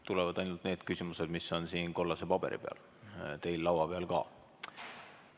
Tulevad ainult need küsimused, mis on siin kollase paberi peal, teil laua peal ka.